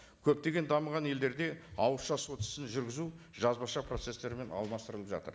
көптеген дамыған елдерде ауызша сот ісін жүргізу жазбаша процесттерімен алмастырылып жатыр